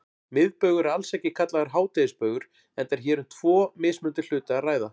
Miðbaugur er alls ekki kallaður hádegisbaugur enda er hér um tvo mismunandi hluti að ræða.